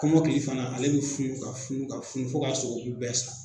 Kɔmɔkili fana ale bɛ funu ka funu ka funu fo ka sogobu bɛɛ sa.